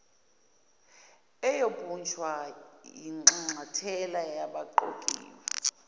eyobunjwa yinxanxathela yabaqokiwe